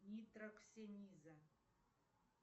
нитроксениза